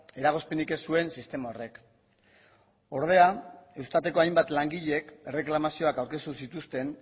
eragozpenik ez zuen sistema horrek ordea eustateko hainbat langileek erreklamazioak aurkeztu zituzten